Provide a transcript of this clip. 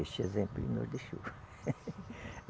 Este exemplo ele nos deixou.